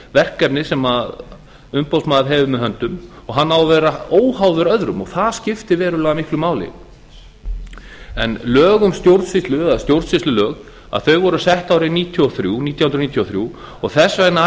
verkefni sem umboðsmaður hefur með höndum og hann á að vera óháður öðrum og það skiptir verulega miklu máli stjórnsýslulög voru sett árið nítján hundruð níutíu og þrjú og þess vegna